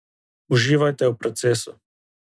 Uživajte v procesu.